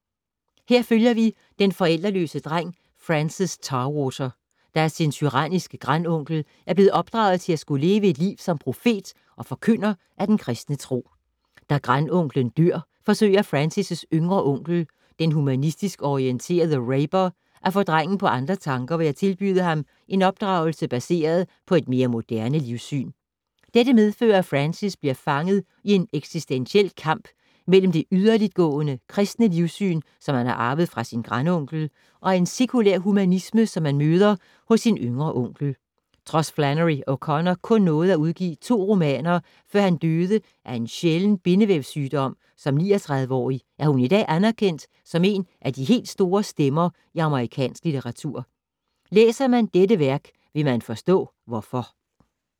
Her følger vi den forældreløse dreng Francis Tarwater, der af sin tyranniske grandonkel er blevet opdraget til at skulle leve et liv som profet og forkynder af den kristne tro. Da grandonklen dør, forsøger Francis’ yngre onkel, den humanistisk orienterede Rayber, at få drengen på andre tanker ved at tilbyde ham en opdragelse baseret på et mere moderne livssyn. Dette medfører, at Francis bliver fanget i en eksistentiel kamp mellem det yderligtgående kristne livssyn, som han har arvet fra sin grandonkel, og en sekulær humanisme som han møder hos sin yngre onkel. Trods Flannery O’Connor kun nåede at udgive to romaner, før hun døde af en sjælden bindevævssygdom som 39-årig, er hun i dag anerkendt som en af de helt store stemmer i amerikansk litteratur. Læser man dette værk, vil man forstå hvorfor.